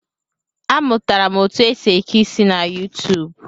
A mụtara m otu esi eke isi na YuuTuub